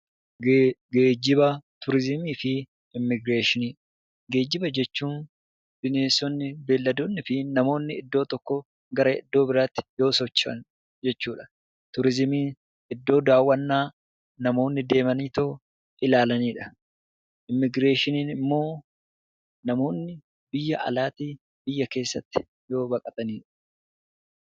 Geejjiba jechuun bineensonnii fi bineeldonni fi namoonni iddoo tokkoo gara iddoo biraatti gaafa socho'an jechuudha. Turizimiin iddoo daawwannaa namoonni deemanii ilaalanidha. Immiigireeshiniin immoo namoonni biyya alaatii biyya keessatti yoo baqatanidha.